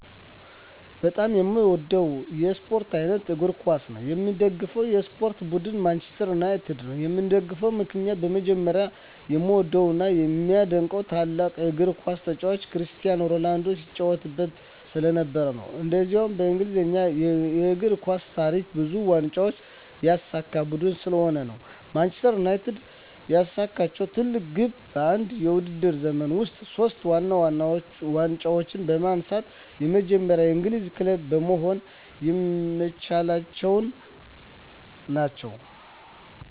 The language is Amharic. በጣም የምዎደው የስፖርት አይነት እግር ኳስ ነው። የምደግፈው የስፖርት ቡድን ማንችስተር ዩናይትድ ነው። የምደግፍበት ምክንያት በመጀመሪያ የምዎደው እና የማደንቀው ታላቁ የግር ኳስ ተጫዋች ክርስቲያኖ ሮናልዶ ሲጫዎትበት ስለነበር። እንዲሁም በእንግሊዝ የእግር ኳስ ታሪክ ብዙ ዋንጫዎችን ያሳካ ቡድን ስለሆነ ነው። ማንችስተር ዩናይትድ ያሳካችው ትልቁ ግብ በአንድ የውድድር ዘመን ውስጥ ሶስቱን ዋና ዋና ዋንጫዎች በማንሳት የመጀመሪያው የእንግሊዝ ክለብ መሆን በመቻላቸው ነው።